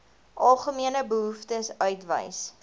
algemene behoeftes uitwys